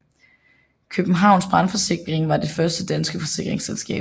Kjøbenhavns Brandforsikring var det første danske forsikringsselskab